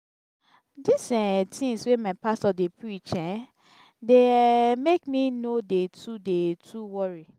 di um tins wey my pastor dey preach um dey um make me no dey too dey too worry.